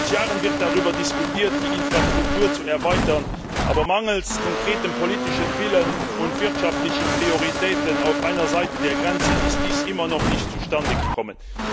Seit Jahren wird darüber diskutiert, die Infrastruktur zu erweitern, aber mangels konkreten politischen Willens und wirtschaftlicher Prioritäten auf einer Seite der Grenze ist dies immer noch nicht zustande gekommen.